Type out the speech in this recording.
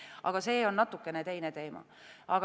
Aga see on natuke teine teema.